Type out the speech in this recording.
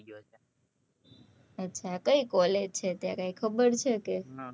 અચા કઈ college છે તારે એ ખબર છે કે